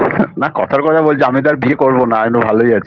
না কথার কথা বলছি আমি তো আর বিয়ে করব না আমি তো ভালোই আছি